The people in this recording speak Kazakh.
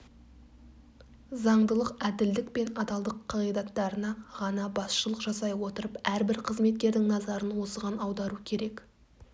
заңдылық әділдік пен адалдық қағидаттарына ғана басшылық жасай отырып әрбір қызметкердің назарын осыған аудару керек